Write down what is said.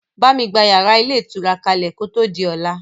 Bámi gba yàrá ilé ìtura kalẹ kò tó di ọlá!